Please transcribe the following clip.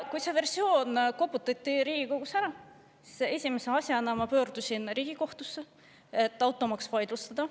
Kui see versioon Riigikogus ära koputati, siis ma esimese asjana pöördusin kohe Riigikohtusse, et see automaks vaidlustada.